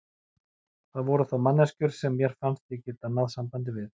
Það voru þó manneskjur sem mér fannst ég geta náð sambandi við.